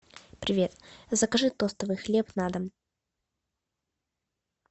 привет закажи тостовый хлеб на дом